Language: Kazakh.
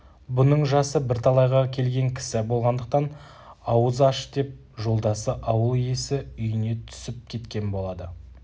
бұның жасы бірталайға келген кісі болғандықтан ауыз аш деп жолдасы ауыл иесі үйіне түсіп күткен болады